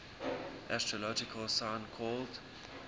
astrological sign called